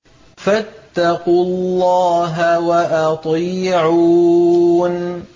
فَاتَّقُوا اللَّهَ وَأَطِيعُونِ